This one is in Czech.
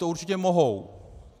To určitě mohou.